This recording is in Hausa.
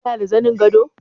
Kana da zanin gado?